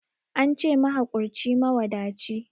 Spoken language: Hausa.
Ance mahakurci mawadaci